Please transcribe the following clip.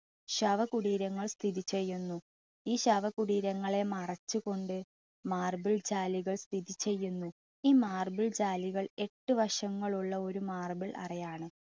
ശവ കുടീരങ്ങൾ സ്ഥിതി ചെയ്യുന്നു. ഈ ശവ കുടീരങ്ങൾ മറച്ചുകൊണ്ട് marble ചാലുകൾ സ്ഥിതി ചെയ്യുന്നു. ഈ ചാലുകൾ എട്ട് വശങ്ങളുള്ള ഒരു marble അറയാണ്.